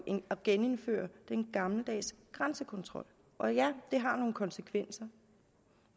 at genindføre den gammeldags grænsekontrol og ja det har nogle konsekvenser